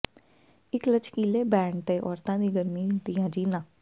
ਇੱਕ ਲਚਕੀਲੇ ਬੈਂਡ ਤੇ ਔਰਤਾਂ ਦੀ ਗਰਮੀ ਦੀਆਂ ਜੀਨਾਂ